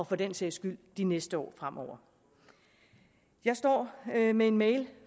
for den sags skyld de næste år fremover jeg står med en mail